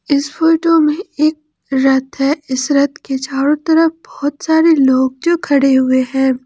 इस फोटो में एक रथ है इस रथ के चारों तरफ बहुत सारे लोग जो खड़े हुए हैं।